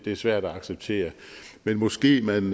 er svært at acceptere men måske man